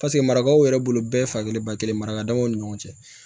Paseke marakaw yɛrɛ bolo bɛɛ fa kelen ba kelen marakaw ni ɲɔgɔn cɛ